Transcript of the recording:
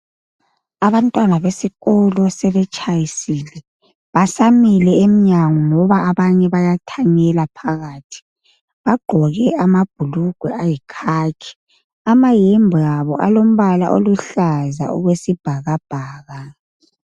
Abantwana besikolo sebetshayisile. Basamile emnyango, ngoba abanye bayathanyela phakathi .Bagqoke amabhulugwe alombala oyikhakhi. Amayembe abo alombala oluhlaza okwesibhakabhaka.